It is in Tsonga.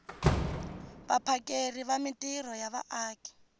vaphakeri va mintirho ya vaaki